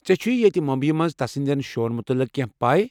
ژےٚ چھُیہِ ییٚتہِ مُمبیی منٛز تس ہنٛدٮ۪ن شوہن مُتعلق کٮ۪نٛہہ پیہ ؟